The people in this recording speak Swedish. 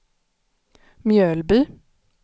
Mjölby